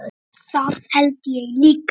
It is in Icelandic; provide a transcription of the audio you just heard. Það held ég líka